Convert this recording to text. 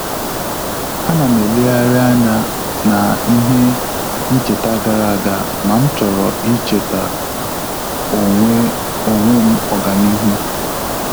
A na m eleghari anya na-ihe ncheta gara aga ma m chọrọ ichetara onwe onwe m ọganihu